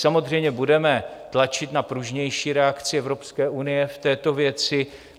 Samozřejmě budeme tlačit na pružnější reakci Evropské unie v této věci.